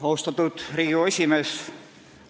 Austatud Riigikogu esimees!